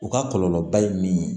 U ka kɔlɔlɔ ba ye min